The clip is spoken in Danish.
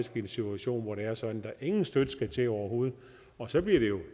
en situation hvor det er sådan at der ingen støtte skal til overhovedet og så bliver